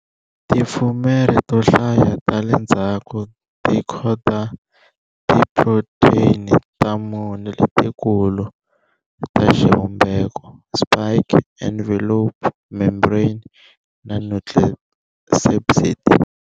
Tifumere to hlaya ta le ndzhaku ti khoda tiphrotheyini ta mune letikulu ta xivumbeko-spike, envelope, membrane, na nucleocapsid.